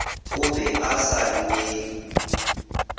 o be a sa lwele